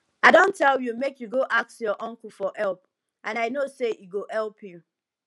i don tell you make you go ask your uncle for help and i know say he go help you